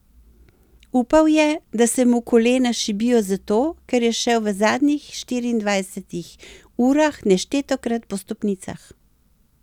Upal je, da se mu kolena šibijo zato, ker je šel v zadnjih štiriindvajsetih urah neštetokrat po stopnicah.